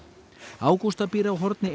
Ágústa býr á horni